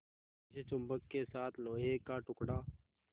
जैसे चुम्बक के साथ लोहे का टुकड़ा